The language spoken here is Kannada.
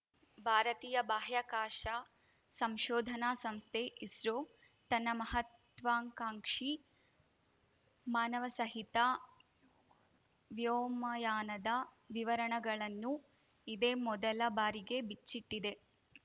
ಭಾರತೀಯ ಬಾಹ್ಯಾಕಾಶ ಸಂಶೋಧನಾ ಸಂಸ್ಥೆ ಇಸ್ರೋ ತನ್ನ ಮಹತ್ವಾಕಾಂಕ್ಷಿ ಮಾನವಸಹಿತ ವ್ಯೋಮಯಾನದ ವಿವರಣಗಳನ್ನು ಇದೇ ಮೊದಲ ಬಾರಿಗೆ ಬಿಚ್ಚಿಟ್ಟಿದೆ